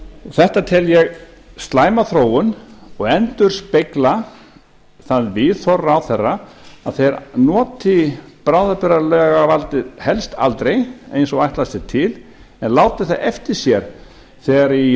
þetta tel ég slæma þróun og endurspegla það viðhorf ráðherra að þeir noti bráðabirgðalagavaldið helst aldrei eins og ætlast er til en láti það eftir sér þegar í